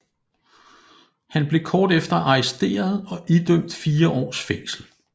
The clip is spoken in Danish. Han blev kort efter arresteret og idømt fire års fængsel